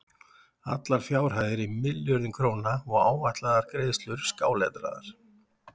Allar fjárhæðir í milljörðum króna og áætlaðar greiðslur skáletraðar.